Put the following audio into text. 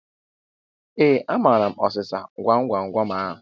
Ee, amaara m ọsịsa gwam gwam gwam ahu